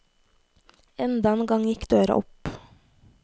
Enda en gang gikk døra opp.